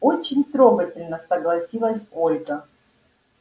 очень трогательно согласилась ольга